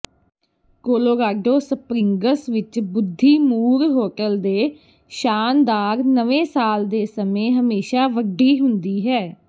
Colorado Springs ਵਿੱਚ ਬੁੱਧੀਮੂਰ hotel ਦੇ ਸ਼ਾਨਦਾਰ ਨਵੇਂ ਸਾਲ ਦੇ ਸਮੇਂ ਹਮੇਸ਼ਾ ਵੱਡੀ ਹੁੰਦੀ ਹੈ